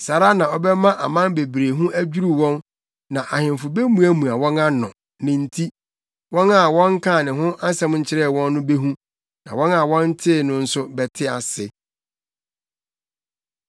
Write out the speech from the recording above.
saa ara na ɔbɛma aman bebree ho adwiriw wɔn na ahemfo bemuamua wɔn ano, ne nti. Wɔn a wɔnkaa ne ho asɛm nkyerɛɛ wɔn no behu, na wɔn a wɔntee no nso bɛte ase.